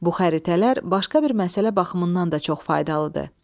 Bu xəritələr başqa bir məsələ baxımından da çox faydalıdır.